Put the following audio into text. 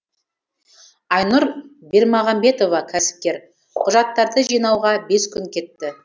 айнұр бермағамбетова кәсіпкер құжаттарды жинауға бес күн кетті